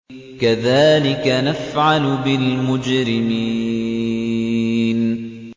كَذَٰلِكَ نَفْعَلُ بِالْمُجْرِمِينَ